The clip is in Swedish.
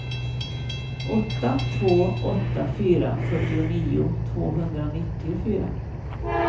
åtta två åtta fyra fyrtionio tvåhundranittiofyra